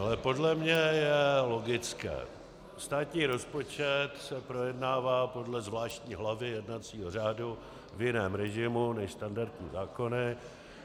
Ale podle mě je logické - státní rozpočet se projednává podle zvláštní hlavy jednacího řádu v jiném režimu než standardní zákony.